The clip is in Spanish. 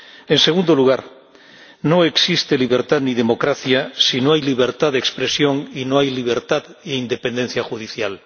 En segundo lugar, no existe libertad, ni democracia, si no hay libertad de expresión y no hay libertad e independencia judicial.